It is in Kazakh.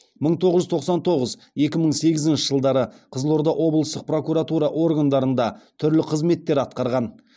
мың тоғыз жүз тоқсан тоғыз екі мың сегізінші жылдары қызылорда облыстық прокуратура органдарында түрлі қызметтер атқарған